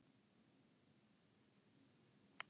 Hvernig hjónaband er það eiginlega?